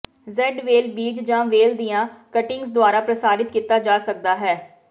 jade ਵੇਲ ਬੀਜ ਜਾਂ ਵੇਲ ਦੀਆਂ ਕਟਿੰਗਜ਼ ਦੁਆਰਾ ਪ੍ਰਸਾਰਿਤ ਕੀਤਾ ਜਾ ਸਕਦਾ ਹੈ